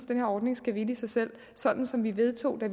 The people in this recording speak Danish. den her ordning skal hvile i sig selv sådan som vi vedtog det